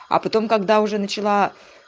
а потом когда уже начала